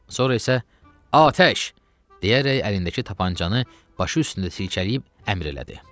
Sonra isə, “Atəş!” deyərək əlindəki tapançanı başı üstündə silkələyib əmr elədi.